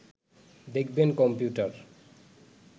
দেখবেন কম্পিউটার